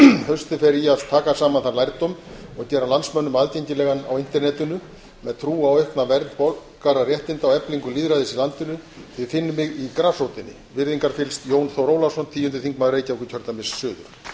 haustið fer í að taka saman þann lærdóm og gera landsmönnum aðgengilegan á internetinu með trúa á aukna vernd borgararéttinda og eflingu lýðræðis í landinu þið finnið mig í grasrótinni virðingarfyllst jón þór ólafsson tíundi þingmaður reykjavíkurkjördæmis suður